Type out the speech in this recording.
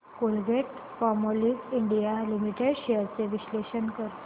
Colgate Palmolive India limited shares चे विश्लेषण कर